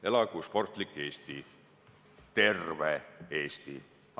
Elagu sportlik Eesti, terve Eesti!